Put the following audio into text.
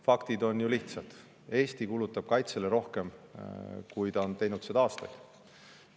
Faktid on ju lihtsad: Eesti kulutab kaitsele rohkem, kui ta on teinud seda aastatel.